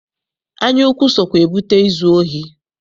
Anyaukwu sokwa ebute izu ohi.